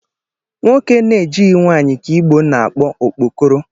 Nwoke na-ejighi nwanyị ka Igbo na-akpọ okpokoro